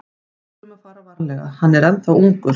Við þurfum að fara varlega, hann er ennþá ungur.